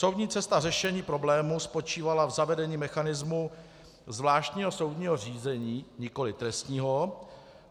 Soudní cesta řešení problému spočívala v zavedení mechanismu zvláštního soudního řízení, nikoliv trestního.